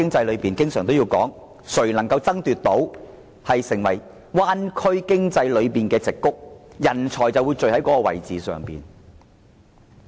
我們經常說，誰能成為灣區經濟中的矽谷，人才便會在那裏匯聚。